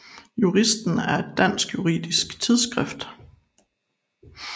Juristen er et dansk juridisk tidsskrift